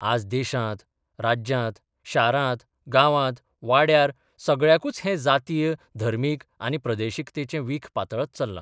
आज देशांत, राज्यांत, शारांत, गावांत, वाड्यार सगळ्याकूच हें जातीय, धर्मीक आनी प्रादेशिकतेचें वीख पातळत चल्लां.